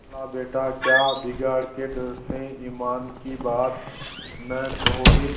खालाबेटा क्या बिगाड़ के डर से ईमान की बात न कहोगे